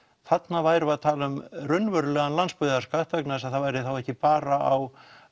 þarna værum við að tala um raunverulegan landsbyggðarskatt vegna þess að hann væri ekki bara á